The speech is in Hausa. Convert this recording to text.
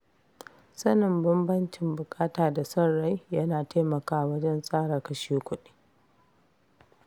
Sanin bambancin buƙata da son rai yana taimakawa wajen tsara kashe kuɗi.